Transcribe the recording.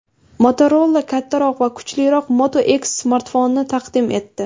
Motorola kattaroq va kuchliroq Moto X smartfonini taqdim etdi.